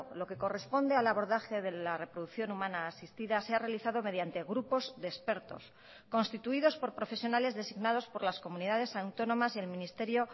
lo que corresponde al abordaje de la reproducción humana asistida se ha realizado mediante grupos de expertos constituidos por profesionales designados por las comunidades autónomas y el ministerio